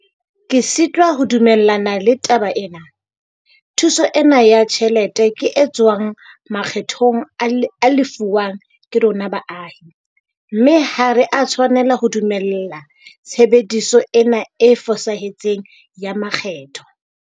Ke sitwa ho dumellana le taba ena - thuso ena ya tjhelete ke e tswang makgethong a lefuwang ke rona baahi, mme ha re a tshwanela ho dumella tshebediso ena e fosahetseng ya makgetho.